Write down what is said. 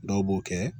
Dɔw b'o kɛ